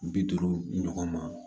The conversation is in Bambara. Bi duuru ɲɔgɔn ma